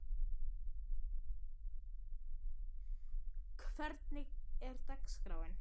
Sigurdríf, hvernig er dagskráin?